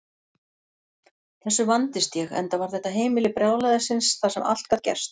Þessu vandist ég, enda var þetta heimili brjálæðisins þar sem allt gat gerst.